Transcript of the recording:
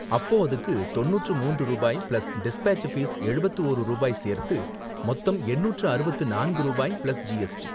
அப்போ அதுக்கு தொண்ணூற்று மூன்று ரூபாய் பிளஸ் டிஸ்பேட்ச் ஃபீஸ் எழுபத்து ஓரு ரூபாய் சேர்த்து மொத்தம் எண்ணூற்று அறுபத்து நான்கு ரூபாய், பிளஸ் ஜிஎஸ்டி.